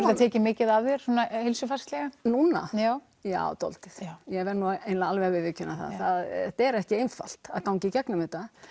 þetta tekið mikið af þér svona heilsufarslega núna já já dálítið ég verð eiginlega alveg að viðurkenna það þetta er ekki einfalt að ganga í gegnum þetta